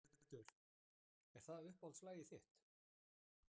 Þórhildur: Er það uppáhaldslagið þitt?